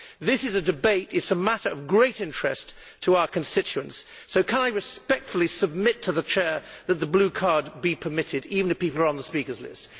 This is a debate and a matter of great interest to our constituents, so can I respectfully submit to the Chair that the blue card be permitted, even if people are on the speakers list?